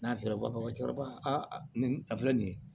N'a fiyɛra cɛkɔrɔba nin a filɛ nin ye